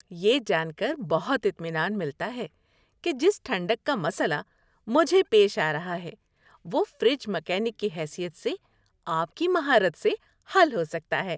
یہ جان کر بہت اطمینان ملتا ہے کہ جس ٹھنڈک کا مسئلہ مجھے پیش آ رہا ہے، وہ فریج مکینک کی حیثیت سے آپ کی مہارت سے حل ہو سکتا ہے۔